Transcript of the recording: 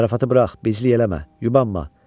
Zarafatı burax, bizlik eləmə, yubanma.